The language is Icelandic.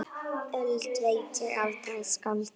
Öld veit ég afbragð skálda!